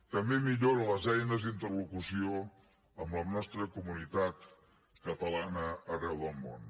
també millora les eines d’interlocució amb la nostra comunitat catalana arreu del món